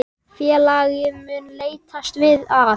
Félagið mun leitast við að